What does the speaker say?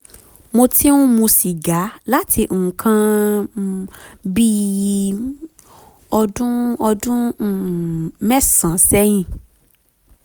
mo ti ń mu sìgá láti nǹkan um bí um ọdún ọdún um mẹ́sàn-án sẹ́yìn